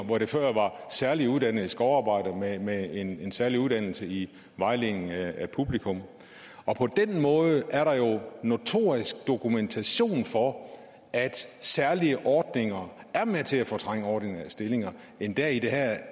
hvor det før var særligt uddannede skovarbejdere med en en særlig uddannelse i vejledning af publikum på den måde er der jo notorisk dokumentation for at særlige ordninger er med til at fortrænge ordinære stillinger endda i det her